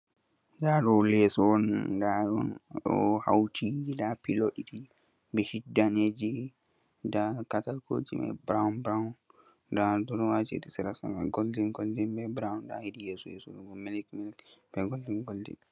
Nda do leso on, nda dum do hauti, nda pilo didi, beshit daneji, nda katakoji mai burawn burawn, nda durowaji hedi serado golin goldin, hedi yeso do milik milik be goldin goldin.